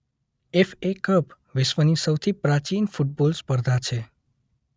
FA cup વિશ્વની સૌથી પ્રાચિન ફુટબોલ સ્પર્ધા છે.